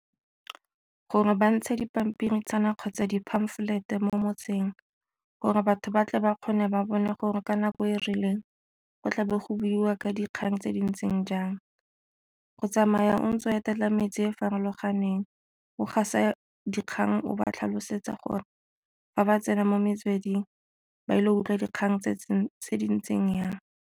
Gore ba ntshe dipampiritshana kgotsa di-pamphlet mo motseng gore batho ba tle ba kgone ba bone gore ka nako e rileng go tla be go buiwa ka dikgang tse di ntseng jang, go tsamaya o ntse o etela metse e farologaneng o gasa dikgang o ba tlhalosetsa gore fa ba tsena mo metsweding ba ile go utlwa dikgang tse di ntseng jang.